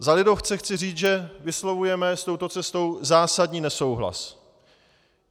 Za lidovce chci říci, že vyslovujeme s touto cestou zásadní nesouhlas.